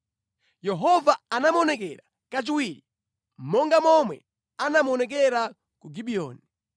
Yehova anamuonekera kachiwiri, monga momwe anamuonekera ku Gibiyoni.